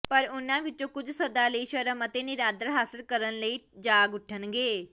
ਪਰ ਉਨ੍ਹਾਂ ਵਿੱਚੋਂ ਕੁਝ ਸਦਾ ਲਈ ਸ਼ਰਮ ਅਤੇ ਨਿਰਾਦਰ ਹਾਸਿਲ ਕਰਨ ਲਈ ਜਾਗ ਉੱਠਣਗੇ